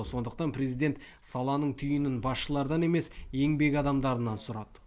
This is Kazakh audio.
сондықтан президент саланың түйінін басшылардан емес еңбек адамдарынан сұрады